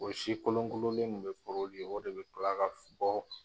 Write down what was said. O si kolonkolonlen de bɛ o de bɛ tila ka fɔ.